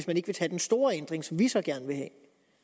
man vil tage den store ændring som vi så gerne vil have